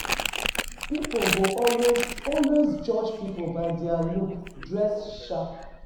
Pipo go always always judge pipo by their looks, dress sharp